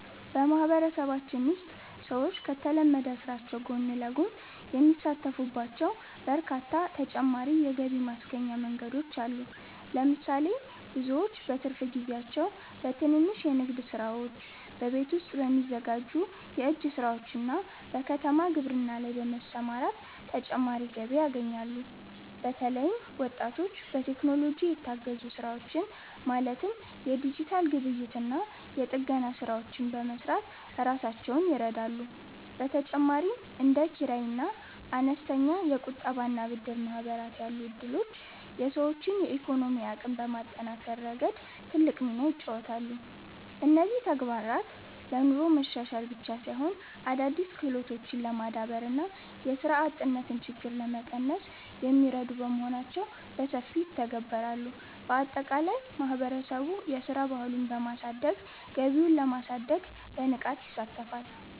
በማህበረሰባችን ውስጥ ሰዎች ከተለመደው ስራቸው ጎን ለጎን የሚሳተፉባቸው በርካታ ተጨማሪ የገቢ ማስገኛ መንገዶች አሉ። ለምሳሌ፣ ብዙዎች በትርፍ ጊዜያቸው በትንንሽ የንግድ ስራዎች፣ በቤት ውስጥ በሚዘጋጁ የእጅ ስራዎችና በከተማ ግብርና ላይ በመሰማራት ተጨማሪ ገቢ ያገኛሉ። በተለይም ወጣቶች በቴክኖሎጂ የታገዙ ስራዎችን ማለትም የዲጂታል ግብይትና የጥገና ስራዎችን በመስራት ራሳቸውን ይረዳሉ። በተጨማሪም እንደ ኪራይና አነስተኛ የቁጠባና ብድር ማህበራት ያሉ እድሎች የሰዎችን የኢኮኖሚ አቅም በማጠናከር ረገድ ትልቅ ሚና ይጫወታሉ። እነዚህ ተጨማሪ ተግባራት ለኑሮ መሻሻል ብቻ ሳይሆን፣ አዳዲስ ክህሎቶችን ለማዳበርና የስራ አጥነትን ችግር ለመቀነስ የሚረዱ በመሆናቸው በሰፊው ይተገበራሉ። ባጠቃላይ ማህበረሰቡ የስራ ባህሉን በማሳደግ ገቢውን ለማሳደግ በንቃት ይሳተፋል።